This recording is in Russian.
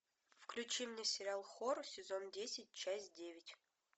включи мне сериал хор сезон десять часть девять